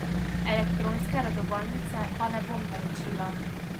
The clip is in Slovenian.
Elektronske redovalnice pa ne bom naročila.